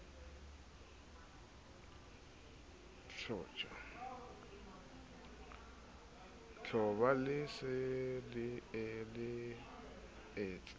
tjhoba le se le letse